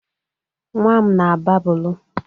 Nwam na a babụlụ.